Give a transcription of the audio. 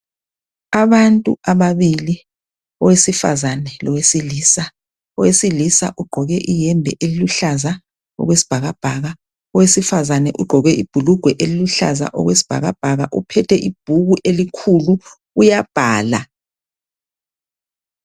Abantu ababili owesifazane lowesilisa owesilisa ugqoke iyembe eluhlaza okwesibhakabhaka owesifazane ugqoke ibhulugwe eliluhlaza okwesibhakabhaka uphethe ibhuku elikhulu uyabhala.